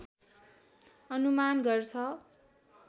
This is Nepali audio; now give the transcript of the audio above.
अनुमान गर्छ